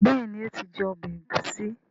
béèni o tí jé ọbẹ Egusi.